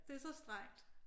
Det er så strengt